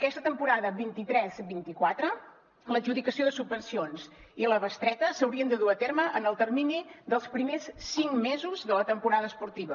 aquesta temporada vint tres vint quatre l’adjudicació de subvencions i la bestreta s’haurien de dur a terme en el termini dels primers cinc mesos de la temporada esportiva